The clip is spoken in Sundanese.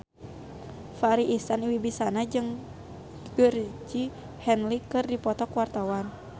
Farri Icksan Wibisana jeung Georgie Henley keur dipoto ku wartawan